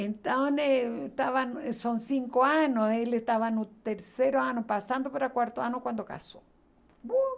Então, eh estava, eh são cinco anos, ele estava no terceiro ano, passando para o quarto ano, quando casou.